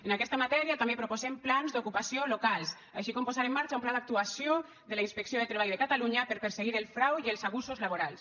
en aquesta matèria també proposem plans d’ocupació local així com posar en marxa un pla d’actuació de la inspecció de treball de catalunya per perseguir el frau i els abusos laborals